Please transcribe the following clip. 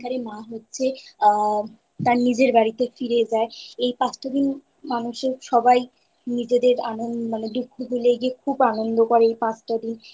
সেই দিনকারে মা হচ্ছে আ তার নিজের বাড়িতে ফিরে যায়। এই পাঁচটা দিন মানুষের সবাই নিজেদের অনো দুঃখ ভুলে গিয়ে আনন্দ করে এই পাঁচটা দিন।